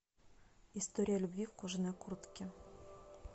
история любви в кожаной куртке